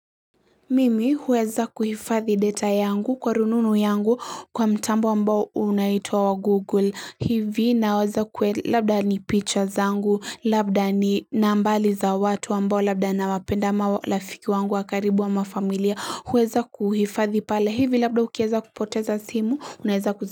Mimi huweza kuhifadhi data yangu kwa rununu yangu kwa mtambo ambao unaitwa wa google hivi labda ni pictures zangu labda ni nambali za watu ambao labda nawapenda ama rafiki wangu wa karibu ama familia huweza kuhifadhi pale hivi labda ukiweza kupoteza simu unaweza kuzi.